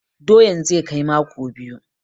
Doyan zai kai mako biyu.